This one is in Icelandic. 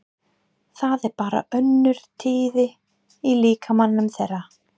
Það er bara önnur tíðni í líkamanum þeirra.